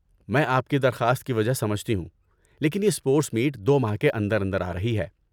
میں آپ کی درخواست کی وجہ سمجھتی ہوں لیکن یہ اسپورٹس میٹ دو ماہ کے اندر اندر آرہی ہے۔